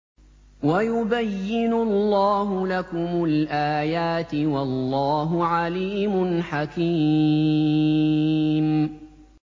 وَيُبَيِّنُ اللَّهُ لَكُمُ الْآيَاتِ ۚ وَاللَّهُ عَلِيمٌ حَكِيمٌ